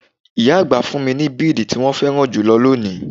Ìyá àgbà fún mi bidi tí wọn féràn jù lónìí.